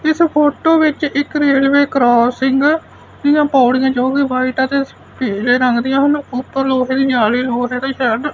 ਇਸ ਫੋਟੋ ਵਿੱਚ ਇੱਕ ਰੇਲਵੇ ਕਰੋਸਿੰਗ ਦੀਆਂ ਪੌੜੀਆਂ ਜੋ ਕਿ ਵਾਈਟ ਐ ਤੇ ਪੀਲੇ ਰੰਗ ਦੀਆਂ ਹਨ। ਉੱਪਰ ਲੋਹੇ ਦੀ ਜਾਲੀ ਲੋਹੇ ਦੇ ਸ਼ੈੱਡ --